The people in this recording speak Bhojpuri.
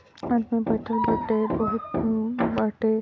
आदमी बइठल बाटे अ बहुत बाटे